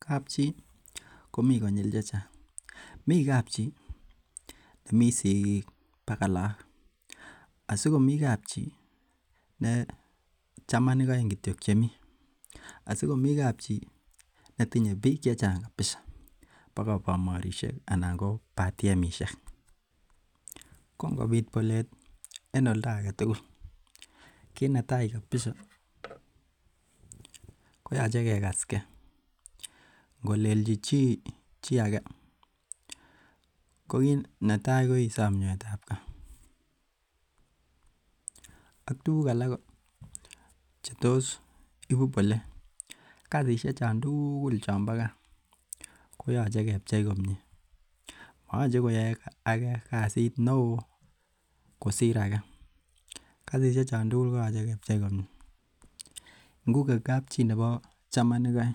Kab chi komi konyil chechang. Mi kab chi nemite sikik akot laak, asikomi kab chi ne chamanik oeng kityo chemi , asikomi kab chi netinye bik chechang kabisa akot bamorisiek ak batiemishek. Ko ingobit bolet en oldo agetugul kinetai kabisa koyoche kekaskei. Ingolelchi chi chioge ko kinetai ko isom nyoetabkat ak tukuk alak Cheetos ibu bolet kasisiek chon tugul chon bo ko koyoche kebcheikomie moyoche koyai age kasit neo kosir age. Kasisiek chon tugul koyoche kebchei komie. Ingo ko kab chi nebo chamanik oeng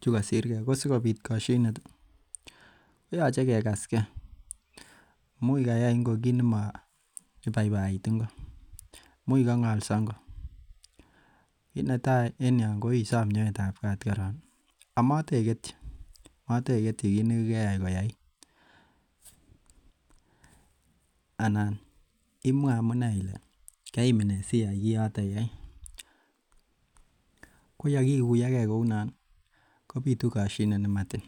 chekosirke koyoche kegaskei amun koyai ingo kit nemo baibait ingo imuche kong'also ingo kinetai koron enyoo koisam nyoetabkat amoteketyi kit nekeyai koyait anan imwa amune koimin nee siyai Kioto. ko yakikuyoge kounon kobitu kosienet nematiny